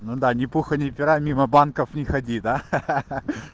ну да ни пуха ни пера мимо банков не ходи да ха ха ха